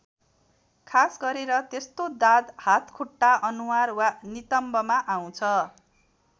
खास गरेर त्यस्तो दाद हातखुट्टा अनुहार वा नितम्बमा आउँछ।